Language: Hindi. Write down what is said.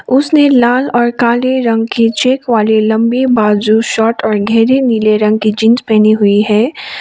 उसने लाल और काले रंग की चेक वाली लंबी बाय जो शर्ट और गहरी नीले रंग की जींस पहनी हुई है।